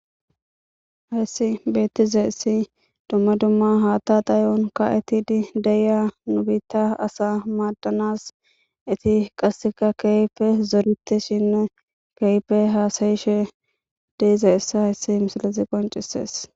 Hessi bettiza essi dumma dumma haata dayon ka'etidi deiya nubiitta asa maaddanas eti qasseka keeyfe zorite shinne keepe haasayishe deize essa hessi misilizi qoncisees.